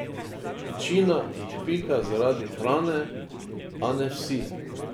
Večina jih pika zaradi hrane, a ne vsi.